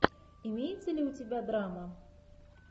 имеется ли у тебя драма